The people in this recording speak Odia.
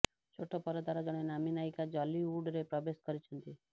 ଛୋଟ ପରଦାର ଜଣେ ନାମୀ ନାୟିକା ଯଲିଉଡରେ ପ୍ରବେଶ କରିଛନ୍ତି